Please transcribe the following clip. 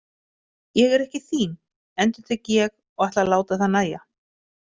Ég er ekki þín, endurtek ég og ætla að láta það nægja.